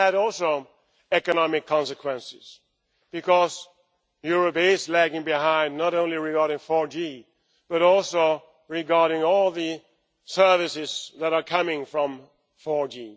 And that also had economic consequences because Europe is lagging behind, not only regarding 4G but also regarding all the services that are coming from 4G.